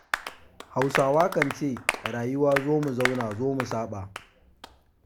Hausawa kan ce rayuwa zo mu zauna zo mu saɓa.